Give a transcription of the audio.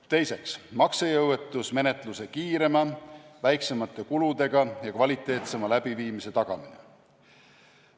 Teiseks, maksejõuetusmenetluse kiirema, väiksemate kuludega ja kvaliteetsema läbiviimise tagamine.